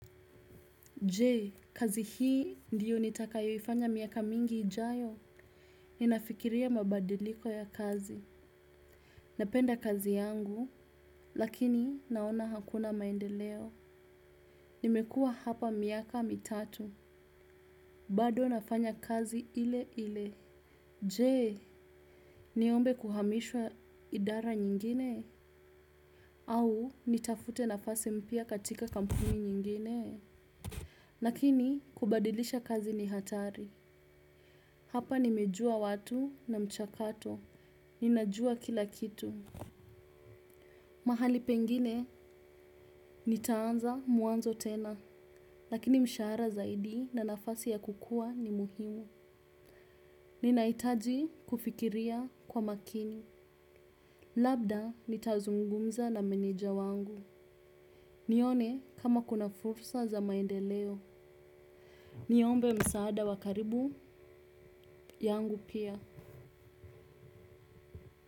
Je, kazi hii ndiyo nitakayoifanya miaka mingi ijayo. Ninafikiria mabadiliko ya kazi. Napenda kazi yangu, lakini naona hakuna maendeleo. Nimekuwa hapa miaka mitatu, bado nafanya kazi ile ile. Je, niombe kuhamishwa idara nyingine? Au, nitafute nafasi mpya katika kampuni nyingine? Lakini, kubadilisha kazi ni hatari. Hapa nimejua watu na mchakato. Ninajua kila kitu. Mahali pengine nitaanza mwanzo tena. Lakini msharaha zaidi na nafasi ya kukua ni muhimu. Ninahitaji kufikiria kwa makini. Labda nitazungumza na meneja wangu. Nione kama kuna fursa za maendeleo. Niombe msaada wa karibu yangu pia.